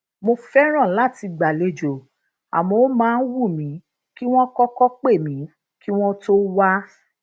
mo fẹràn lati gbalejo àmó ó máa ń wù mí kí wón kókó pè mí kí wón tó wá